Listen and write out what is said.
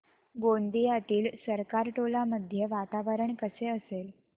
गोंदियातील सरकारटोला मध्ये वातावरण कसे असेल